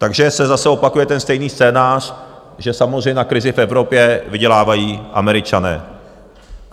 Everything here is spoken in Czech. Takže se zase opakuje ten stejný scénář, že samozřejmě na krizi v Evropě vydělávají Američané.